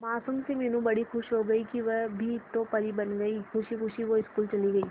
मासूम सी मीनू बड़ी खुश हो गई कि वह भी तो परी बन गई है खुशी खुशी वो स्कूल चली गई